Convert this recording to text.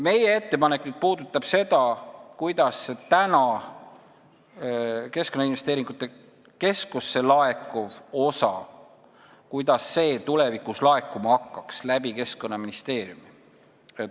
Meie ettepanek puudutab seda, kuidas praegu Keskkonnainvesteeringute Keskusesse laekuv osa hakkaks tulevikus neile laekuma Keskkonnaministeeriumi kaudu.